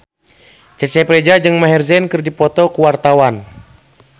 Cecep Reza jeung Maher Zein keur dipoto ku wartawan